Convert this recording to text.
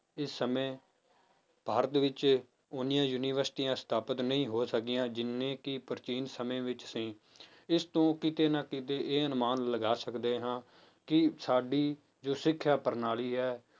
ਇਸ ਸਮੇਂ ਭਾਰਤ ਵਿੱਚ ਓਨੀਆਂ ਯੂਨੀਵਰਸਟੀਆਂ ਸਥਾਪਿਤ ਨਹੀਂ ਹੋ ਸਕੀਆਂ ਜਿੰਨੇ ਕਿ ਪ੍ਰਾਚੀਨ ਸਮੇਂ ਵਿੱਚ ਸੀ ਇਸ ਤੋਂ ਕਿਤੇ ਨਾ ਕਿਤੇ ਇਹ ਅਨੁਮਾਨ ਲਗਾ ਸਕਦੇ ਹਾਂ ਕਿ ਸਾਡੀ ਜੋ ਸਿੱਖਿਆ ਪ੍ਰਣਾਲੀ ਹੈ